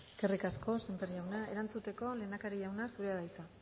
eskerrik asko sémper jauna erantzuteko lehendakari jauna zurea da hitza